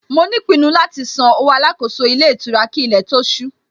Mo ní ìpinnu láti san owó Alákóso ilé ìtura kí ilé tó ó ṣú